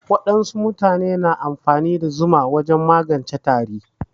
Wasu mutane na amfani da zuma wajen magance tari.